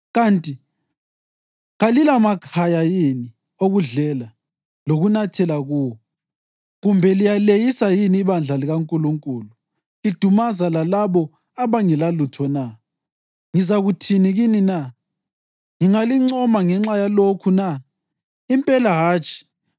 Kanti kalilamakhaya yini okudlela lokunathela kuwo? Kumbe liyaleyisa yini ibandla likaNkulunkulu lidumaza lalabo abangelalutho na? Ngizakuthini kini na? Ngingalincoma ngenxa yalokhu na? Impela hatshi!